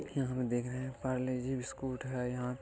यहाँ हम देख रहे हैं पारले जी बिस्कुट है | यहाँ --